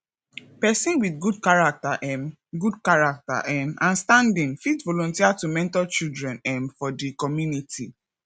person with good character um good character um and standing fit volunteer to mentor children um for di community